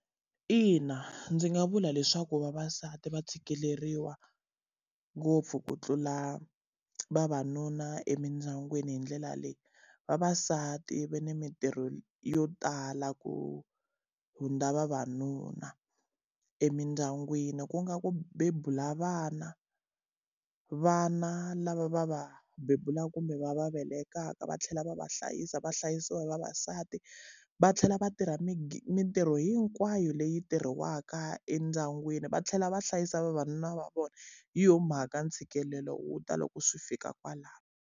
Ina ndzi nga vula leswaku vavasati va tshikeleriwa ngopfu ku tlula vavanuna emindyangwini hi ndlela leyi. Vavasati va na mintirho yo tala ku hundza vavanuna emindyangwini ku nga ku bebula vana. Vana lava va va bebulaka kumbe va va velekaka va tlhela va va hlayisa va hlayisiwa hi vavasati, va tlhela va tirha mintirho hinkwayo leyi tirhiwaka endyangwini. Va tlhela va hlayisa vavanuna va vona, hi yona mhaka ntshikelelo wu ta loko swi fika kwalano.